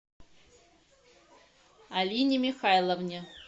алине михайловне